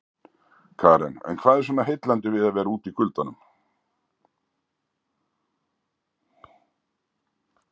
Karen: En hvað er svona heillandi við að vera úti í kuldanum?